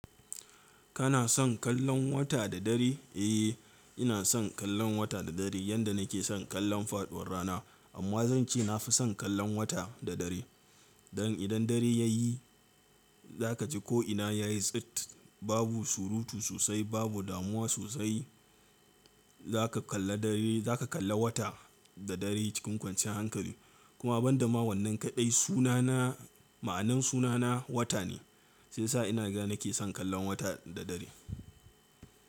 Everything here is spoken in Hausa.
Kana son kallon wata da dare? Eh, ina son kallon wata da dare yanda nake son kallon faɗuwar rana. Amma zan ce na fi son kallon wata da dare. Don idan dare ya yi za ka ji ko'ina ya yi tsit. Babu surutu sosai, babu damuwa sosai. Za ka kalla dare, za ka kalla wata da dare cikin kwanciyar hankali. Kuma ban da ma wannan kaɗai sunana, ma'anar sunana wata ne. Shiyasa inaga nake son kallon wata da dare.